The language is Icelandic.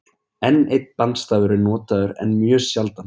enn einn bandstafur er notaður en mjög sjaldan